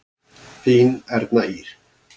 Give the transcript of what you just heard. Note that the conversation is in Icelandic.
Þín Erna Ýr.